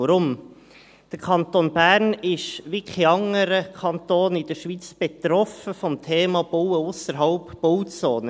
Weshalb? – Der Kanton Bern ist wie kein anderer Kanton in der Schweiz vom Thema Bauen ausserhalb der Bauzone betroffen.